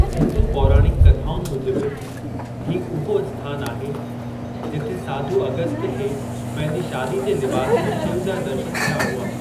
हिंदू पौराणिक कथाउनि मुजिब, हीअ हूअ अस्थानु आहे जिथे साधू अगस्त्य खे पंहिंजी शादी जे लिबासु में शिव जा दर्शनु थिया हुआ।